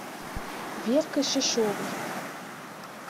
веркой шишовой